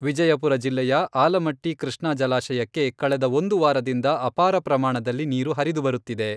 ವಿಜಯಪುರ ಜಿಲ್ಲೆಯ, ಆಲಮಟ್ಟಿ ಕೃಷ್ಣಾ ಜಲಾಶಯಕ್ಕೆ ಕಳೆದ ಒಂದು ವಾರದಿಂದ ಅಪಾರ ಪ್ರಮಾಣದಲ್ಲಿ ನೀರು ಹರಿದು ಬರುತ್ತಿದೆ.